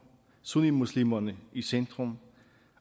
sunnimuslimerne i centrum